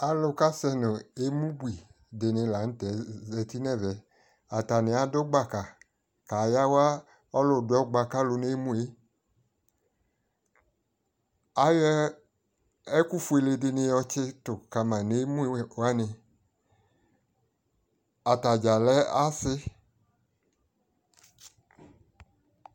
alʋ kʋ asɛnʋ ɛmʋ bʋi dini lantɛ zati nʋ ɛvɛ atani adʋ gbaka ka yawa ɔlʋ dʋ ɔkpɔa nʋ ɛmʋɛ, ayɔ ɛkʋ ƒʋɛlɛ di yɔ tsitʋ kama nʋ ɛmʋɛ ɛkʋ wani, atagya lɛ asii